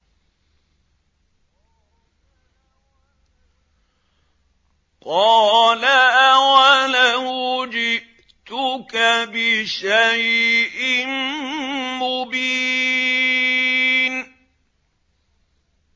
قَالَ أَوَلَوْ جِئْتُكَ بِشَيْءٍ مُّبِينٍ